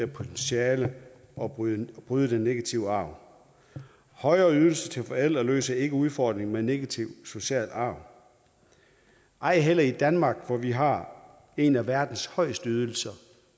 potentiale og bryde bryde den negative arv højere ydelser til forældre løser ikke udfordringen med negativ social arv ej heller i danmark hvor vi har en af verdens højeste ydelser